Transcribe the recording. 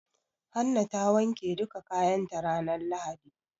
Hanna ta wanke duka kayan ta ranar lahadi.